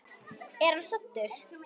Er hann saddur?